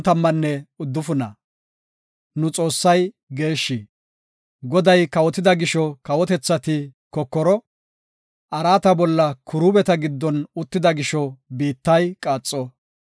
Goday kawotida gisho kawotethati kokoro; araata bolla Kiruubeta giddon uttida gisho; biittay qaaxo.